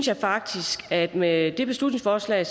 jeg faktisk at man med det beslutningsforslag